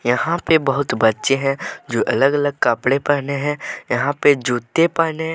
यहां पे बहुत बच्चे हैंजो अलग अलग कपड़े पहने हैं यहां पे जूते पहने हैं।